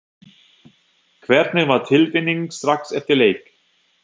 Hvernig var tilfinningin strax eftir leik?